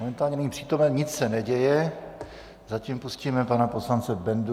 Momentálně není přítomen, nic se neděje, zatím pustíme pana poslance Bendu.